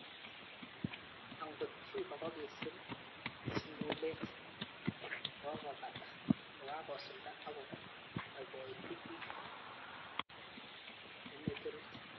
Ak ngot Cuba kokisir sungulet kokakopata kokakosulda ak kopaipaiti ik emet orit.